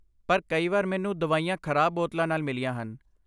ਪਰ ਕਈ ਵਾਰ ਮੈਨੂੰ ਦਵਾਈਆਂ ਖ਼ਰਾਬ ਬੋਤਲਾਂ ਨਾਲ ਮਿਲੀਆਂ ਹਨ।